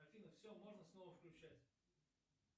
афина все можно снова включать